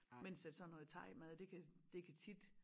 Mens at sådan noget thaimad det kan det kan tit